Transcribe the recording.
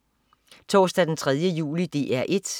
Torsdag den 3. juli - DR 1: